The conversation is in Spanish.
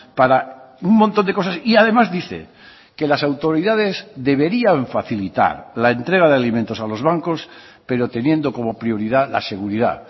para un montón de cosas y además dice que las autoridades deberían facilitar la entrega de alimentos a los bancos pero teniendo como prioridad la seguridad